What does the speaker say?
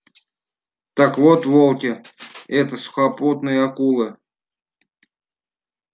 так вот волки это сухопутные акулы